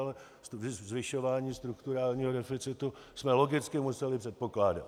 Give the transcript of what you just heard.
Ale zvyšování strukturálního deficitu jsme logicky museli předpokládat.